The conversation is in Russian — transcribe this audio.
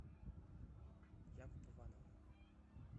якуп ивановна